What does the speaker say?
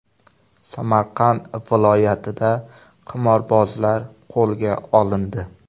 Samarqand viloyatida qimorbozlar qo‘lga olindi.